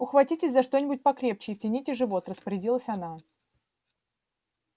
ухватитесь за что-нибудь покрепче и втяните живот распорядилась она